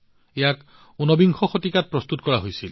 এয়া উনবিংশ শতিকাত প্ৰস্তুত কৰা হৈছিল